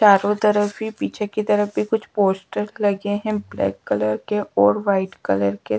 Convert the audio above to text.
चारों तरफ भी पीछे की तरफ भी कुछ पोस्टर लगे हैं ब्लैक कलर के और वाइट कलर के--